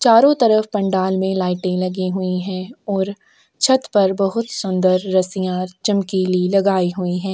चारो तरफ पंडाल में लाइटे लगी हुई है और छत पर बहुत सुंदर रस्सियाँ चमकीली लगाई हुई है।